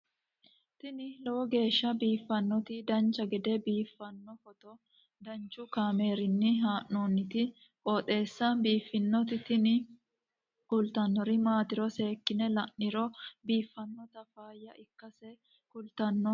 tini lowo geeshsha biiffannoti dancha gede biiffanno footo danchu kaameerinni haa'noonniti qooxeessa biiffannoti tini kultannori maatiro seekkine la'niro biiffannota faayya ikkase kultannoke misileeti yaate